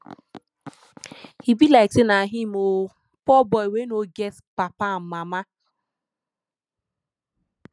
e be like say na him oo poor boy wey no get papa and mama